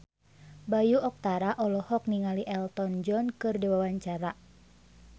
Bayu Octara olohok ningali Elton John keur diwawancara